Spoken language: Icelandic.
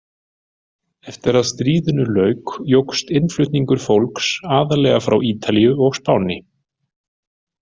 Eftir að stríðinu lauk jókst innflutningur fólks, aðallega frá Ítalíu og Spáni.